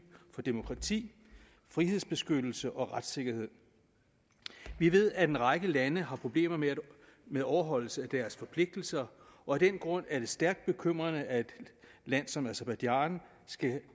for demokrati frihedsbeskyttelse og retssikkerhed vi ved at en række lande har problemer med med overholdelse af deres forpligtelser og af den grund er det stærkt bekymrende at et land som aserbajdsjan skal